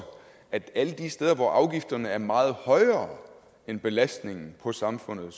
at man alle de steder hvor afgifterne er meget højere end belastningen for samfundet